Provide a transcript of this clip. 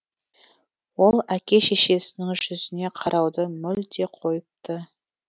ол әке шешесінің жүзіне қарауды мүлде қойыпты